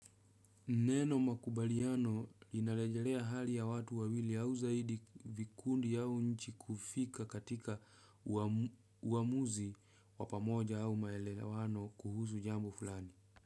Neno makubaliano inarejelea hali ya watu wawili au zaidi vikundi yao nchi kufika katika uamuzi wa pamoja au maelewano kuhusu jambo fulani.